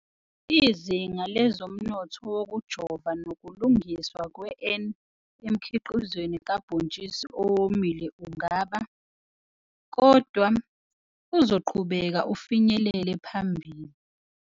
Izinga lezomnotho wokujova nokulungiswa kwe-N emkhiqizweni kabhontshisi owomile ungaba, kodwa, uzoqhubeka ufinyelele phambile.